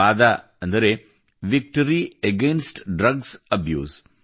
ವಾದ ಅಂದರೆ victory against drugs abuse